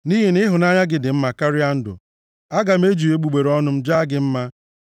Nʼihi na ịhụnanya gị dị mma karịa ndụ, aga m eji egbugbere ọnụ m jaa gị mma.